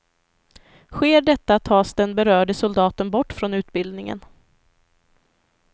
Sker detta tas den berörde soldaten bort från utbildningen.